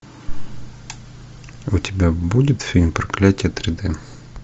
у тебя будет фильм проклятие три дэ